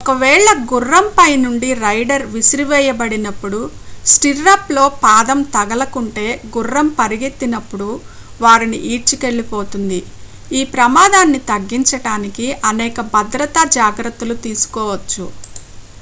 ఒక వేళ గుర్రం పైనుండి రైడర్ విసిరేయబడినప్పుడు స్టిర్రప్లో పాదం తగులుకుంటే గుర్రం పరిగెత్తినప్పుడు వారిని ఈడ్చికెళ్లిపోతుంది ఈ ప్రమాదాన్ని తగ్గించడానికి అనేక భద్రతా జాగ్రత్తలు తీసుకోవచ్చు